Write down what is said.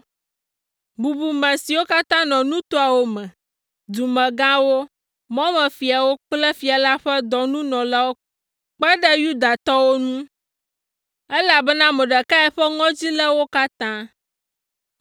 Bubume siwo katã nɔ nutoawo me, dumegãwo, mɔmefiawo kple fia la ƒe dɔnunɔlawo kpe ɖe Yudatɔwo ŋu, elabena Mordekai ƒe ŋɔdzi lé wo katã.